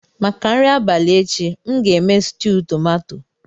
Maka nri abalị echi, m ga-eme stuu tomato.